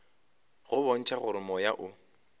go bontšha gore moya o